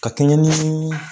Ka kɛɲɛn ni